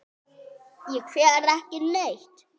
Ég fer ekki neitt.